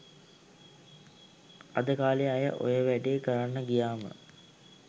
අද කාලෙ අය ඔය වැඩේ කරන්න ගියාම